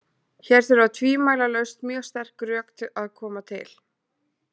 Hér þurfa tvímælalaust mjög sterk rök að koma til.